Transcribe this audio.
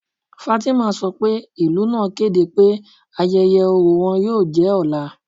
Fátímà sọ pé ilù naa kẹdẹ pẹ̀ ayẹyẹ̀ ọrọ̀ wọn yóò jẹ́ ọlá.